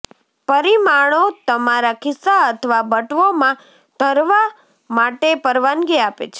પરિમાણો તમારા ખિસ્સા અથવા બટવો માં ધરવા માટે પરવાનગી આપે છે